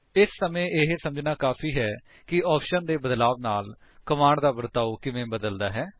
ਇਸ ਸਮੇਂ ਇਹ ਸੱਮਝਣਾ ਕਾਫ਼ੀ ਹੈ ਕਿ ਆਪਸ਼ਨਸ ਦੇ ਬਦਲਾਵ ਨਾਲ ਕਮਾਂਡਸ ਦਾ ਵਰਤਾਓ ਕਿਵੇਂ ਬਦਲਦਾ ਹੈ